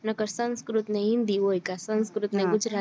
નકર સંસ્કૃત ને હિન્દી હોય ક સંસ્કૃત અને ગુજરાતી